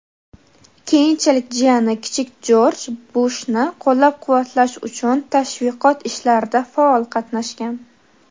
keyinchalik jiyani kichik Jorj Bushni qo‘llab-quvvatlash uchun tashviqot ishlarida faol qatnashgan.